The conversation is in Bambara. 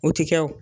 U ti kɛ wo